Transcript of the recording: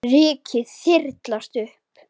Rykið þyrlast upp.